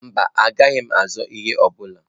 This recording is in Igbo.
Mba, agaghị m azọọ ihe ọ bụla.